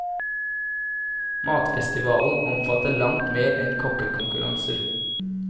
Matfestivalen omfatter langt mer enn kokkekonkurranser.